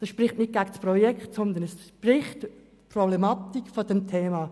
Dies spricht nicht gegen das Projekt, sondern für die Problematik dieses Themas.